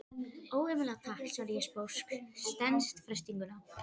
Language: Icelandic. Ómögulega takk, svara ég sposk, stenst freistinguna.